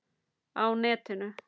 Á netinu